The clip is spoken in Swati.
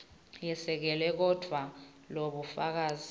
yesekelwe kodvwa lobufakazi